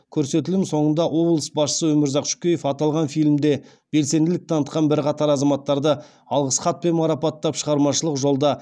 көрсетілім соңында облыс басшысы өмірзақ шөкеев аталған фильмде белсенділік танытқан бірқатар азаматтарды алғыс хатпен марапаттап шығармашылық жолда